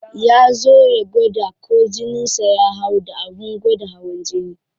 Ya zo ya gwada ko jinin sa ya hau da abin gwada hawan jini.